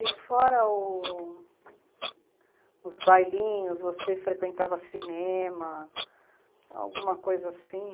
E fora os bailinhos, você frequentava cinema, alguma coisa assim?